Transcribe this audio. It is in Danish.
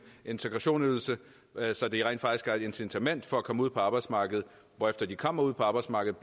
integrationsydelse så de rent faktisk har et incitament for at komme ud på arbejdsmarkedet hvorefter de kommer ud på arbejdsmarkedet